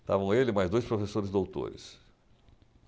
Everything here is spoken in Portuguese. Estavam ele mais dois professores doutores.